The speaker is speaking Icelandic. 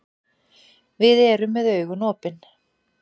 Við erum með augun opin.